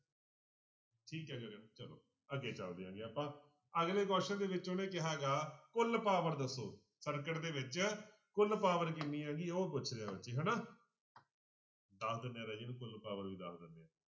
ਠੀਕ ਹੈ ਚਲੋ ਅੱਗੇ ਚੱਲਦੇ ਹੈਗੇ ਆਪਾਂ ਅਗਲੇ question ਦੇ ਵਿੱਚ ਉਹਨੇ ਕਿਹਾ ਗਾ ਕੁੱਲ power ਦੱਸੋ circuit ਦੇ ਵਿੱਚ ਕੁੱਲ power ਕਿੰਨੀ ਹੈਗੀ ਹੈ ਉਹ ਪੁੱਛ ਰਿਹਾ ਹਨਾ ਦੱਸ ਦਿਨੇ ਆਂਂ ਰਾਜੇ ਇਹਨੂੰ ਕੁੱਲ power ਵੀ ਦੱਸ ਦਿਨੇ ਆਂ।